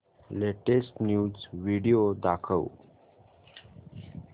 latest news video दाखव